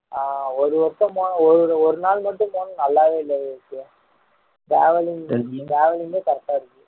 ஆஹ் ஒரு வருஷமா ஒரு ஒரு நாள் மட்டும் போனா நல்லாவே இல்ல விவேக் travelling travelling லயே correct டா இருக்கு